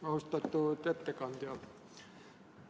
Austatud ettekandja!